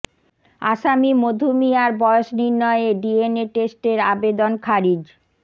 আসামি মধু মিয়ার বয়স নির্ণয়ে ডিএনএ টেস্টের আবেদন খারিজ